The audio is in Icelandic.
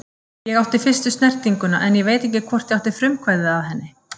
Ég átti fyrstu snertinguna en ég veit ekki hvort ég átti frumkvæðið að henni.